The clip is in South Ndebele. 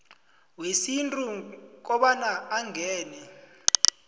wesintu kobana angene